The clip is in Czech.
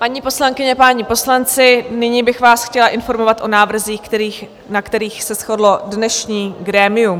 Paní poslankyně, páni poslanci, nyní bych vás chtěla informovat o návrzích, na kterých se shodlo dnešní grémium.